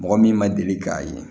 Mɔgɔ min ma deli k'a ye